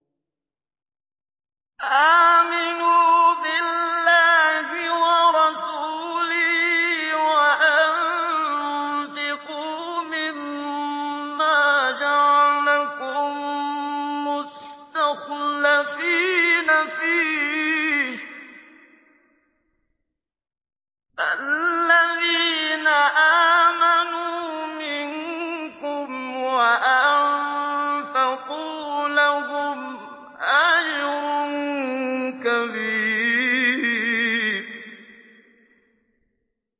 آمِنُوا بِاللَّهِ وَرَسُولِهِ وَأَنفِقُوا مِمَّا جَعَلَكُم مُّسْتَخْلَفِينَ فِيهِ ۖ فَالَّذِينَ آمَنُوا مِنكُمْ وَأَنفَقُوا لَهُمْ أَجْرٌ كَبِيرٌ